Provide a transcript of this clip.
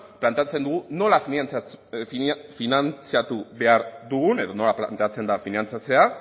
planteatzen dugu nola finantzatu behar dugun edo nola planteatzen da finantzatzea